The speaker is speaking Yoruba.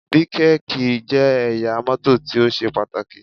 Bíkèkì jẹ́ ẹ̀yà mọ́tò tí ó ṣe pàtàkì